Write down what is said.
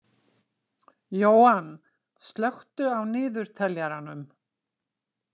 Jóann, slökktu á niðurteljaranum.